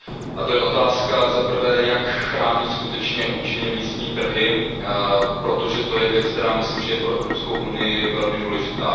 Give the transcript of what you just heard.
A to je otázka, zaprvé, jak chránit skutečně účinně místní trhy, protože to je věc, která myslím, že je pro Evropskou unii velmi důležitá.